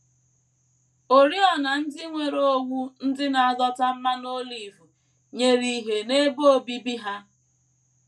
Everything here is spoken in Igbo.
Oriọna ndị nwere owú ndị na - adọta mmanụ olive nyere ìhè n’ebe obibi ha.